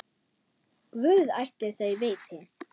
Guð ætli þau viti.